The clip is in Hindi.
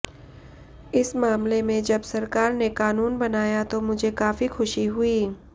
इस मामले में जब सरकार ने कानून बनाया तो मुझे काफी ख़ुशी हुई